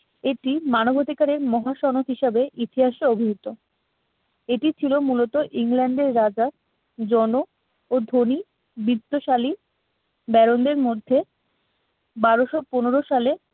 এটি মানবাধিকারের মহাসনদ হিসাবে ইতিহাসে অভিহিত। এটি ছিল মূলত ইংল্যান্ডের রাজা জন ও ধনী বিত্তশালী ব্যারোভের মধ্যে বারোশো পনেরো সালে